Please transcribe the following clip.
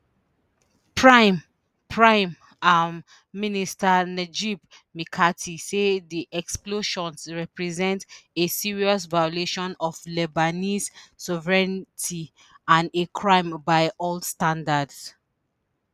prime prime um minister najib mikati say di explosions represent a serious violation of lebanese sovereignty and a crime by all standards